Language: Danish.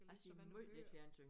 Jeg ser måj lidt fjernsyn